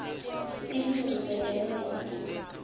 silulu setemnotfo